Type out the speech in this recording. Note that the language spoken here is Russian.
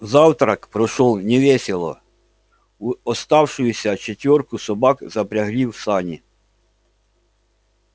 завтрак прошёл невесело в оставшуюся четвёрку собак запрягли в сани